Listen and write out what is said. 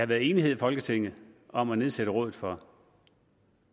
været enighed i folketinget om at nedsætte rådet for